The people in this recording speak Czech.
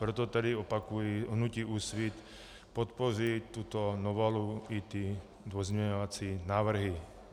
Proto tedy opakuji, hnutí Úsvit podpoří tuto novelu i ty pozměňovací návrhy.